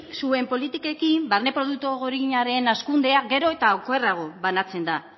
zuen politikekin barne produktu gordinaren hazkundea gero eta okerrago banatzen da